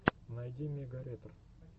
найди мегаретр